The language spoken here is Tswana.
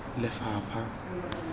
lefapha